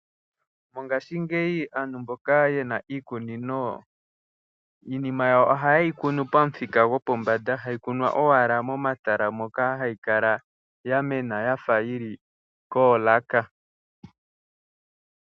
Mongashingeyi aantu mboka ye na iikunino iinima yawo ohaye yi kunu pamuthika gopombanda. Hayi kunwa owala momatala moka hayi kala ya mena ya fa yi li koolaka.